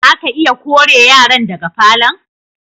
Za ka iya kore yaran daga falo'n?